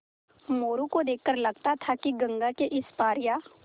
मोरू को देख कर लगता था कि गंगा के इस पार या